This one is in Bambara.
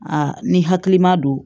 Aa ni hakilima don